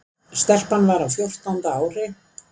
Stelpan var á fjórtánda ári.